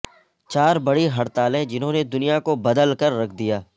چار بڑی ہڑتالیں جنھوں نے دنیا کو بدل کر رکھ دیا